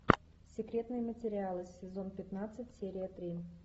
секретные материалы сезон пятнадцать серия три